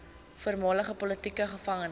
voormalige politieke gevangenes